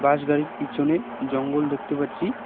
বাস গাড়ির পিছনে জঙ্গল দেখতে পাচ্ছি।